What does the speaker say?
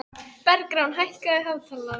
Bergrán, hækkaðu í hátalaranum.